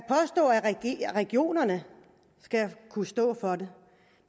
regionerne skal kunne stå for det